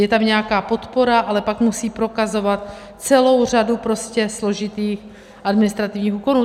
Je tam nějaká podpora, ale pak musí prokazovat celou řadu prostě složitých administrativních úkonů.